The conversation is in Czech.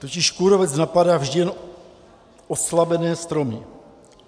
Totiž kůrovec napadá vždy jen oslabené stromy.